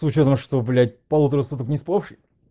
с учётом что блять полутора суток не спавший